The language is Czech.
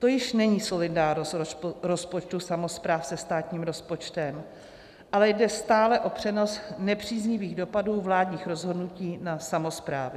To již není solidárnost rozpočtu samospráv se státním rozpočtem, ale jde stále o přenos nepříznivých dopadů vládních rozhodnutí na samosprávy.